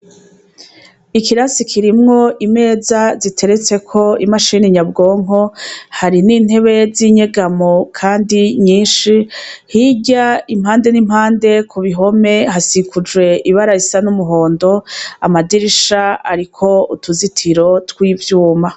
Ikirasi kirimwo imeza ziteretseko imashini nyabwonko, hari n'intebe zinyegamo kandi nyinshi, hirya impande nimpande kubihome hasikujwe ibara risa n’umuhondo amadirisha ariko utuzitiro twivyuma.